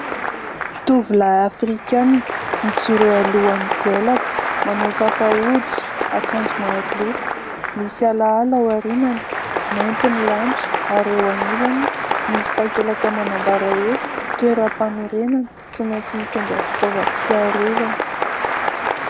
Tovolahy Afrikana mijoro eo alohan'ny goelaka, manao kapa hoditra, akanjo maroloko, misy alaala ao aorianany, mainty ny lanitra ary eo anilany misy takelaka manambara hoe : "toeram-panorenana tsy maintsy mitondra fitaovam-piarovana".